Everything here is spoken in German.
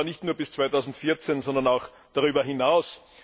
Und zwar nicht nur bis 2014, sondern auch darüber hinaus.